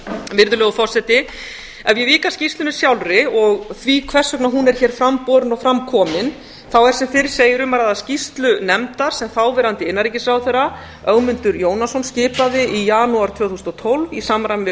virðulegur forseti ef ég vík að skýrslunni sjálfri og því hvers vegna hún er fram borin og fram komin er sem fyrr segir um að ræða skýrslu nefndar sem þáverandi innanríkisráðherra ögmundur jónasson skilað í janúar tvö þúsund og tólf í samræmi við